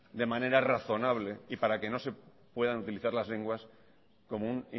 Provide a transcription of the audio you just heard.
de manera razonable y para que no se puedan utilizar las lenguas como un